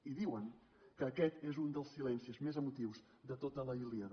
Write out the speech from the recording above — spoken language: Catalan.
i diuen que aquest és un dels silencis més emotius de tota la ilíada